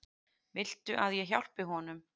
Viltu að ég hjálpi honum?